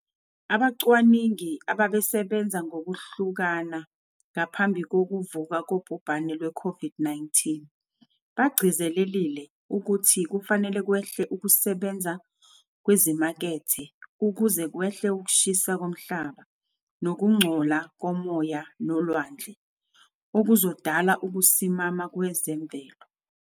Abacwaningi abebesebenza ngokuhlukana ngaphambi kokuvuka kobhubhane lwe-COVID-19, bagcizelelile ukuthi kufanele kwehle ukusebenza kwezimakethe ukuze kwehle ukushisa komhlaba, nokungcola komoya nolwandle, okuzodala ukusimama kwezemvelo.